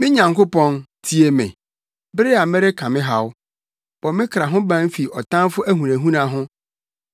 Me Nyankopɔn, tie me, bere a mereka me haw; bɔ me kra ho ban fi ɔtamfo ahunahuna ho.